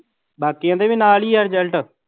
ਬਾਕੀਆਂ ਦੇ ਵੀ ਨਾਲ ਹੀ ਆ result